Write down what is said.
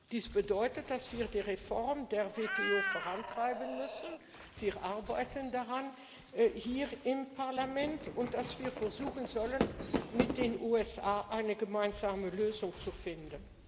Dies bedeutet, dass wir die Reform der WTO vorantreiben müssen wir arbeiten daran hier im Parlament und dass wir versuchen sollen, mit den USA eine gemeinsame Lösung zu finden.